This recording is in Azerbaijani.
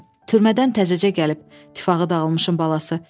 Türmədən təzəcə gəlib tifağı dağılmışın balası.